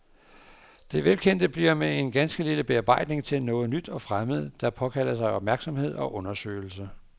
Det velkendte bliver med en ganske lille bearbejdning til noget nyt og fremmed, der påkalder sig opmærksomhed og undersøgelse.